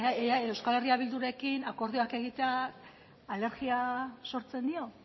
ea euskal herria bildurekin akordioak egitea alergia sortzen dio